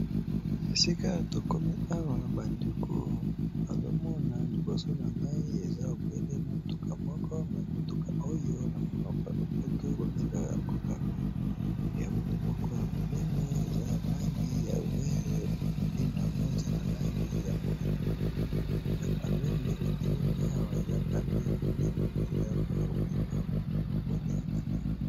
esika tokomi awa bandeko azomona liboso na ngai eza obele motuka moko me motuka oyo na monoko ya lopoto bobengaka yango camion ya motu moko ya monene eza na langi ya bozenga pe pembena yango eza na langi ya moindo eza camion nde etelemi awa eza camion ya monene mpenza mpona komema biloko ndenge na ndenge